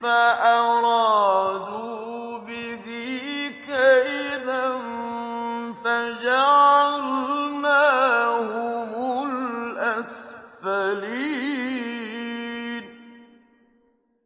فَأَرَادُوا بِهِ كَيْدًا فَجَعَلْنَاهُمُ الْأَسْفَلِينَ